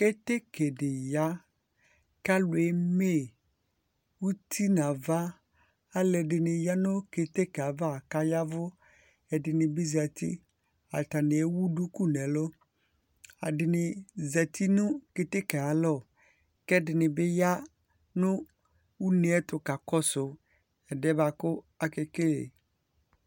Keteke ɖɩ ya, kalu eme, utɩ nava, aluɛ ɖɩniɩ ya nu keteke ava kayavu, ɛɖɩ nɩ bɩ zatɩ Atani ewu ɖuku nɛlu, aɖɩ nɩ zatɩ nu keteke ayalɔ kɛɖɩ nɩ bi ya nu une ɛtu kakɔ su ɛɖɩɛ boa ku akekele